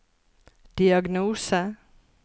diagnose